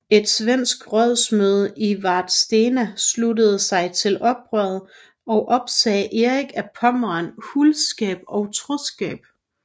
Et svensk rådsmøde i Vadstena sluttede sig til oprøret og opsagde Erik af Pommern huldskab og troskab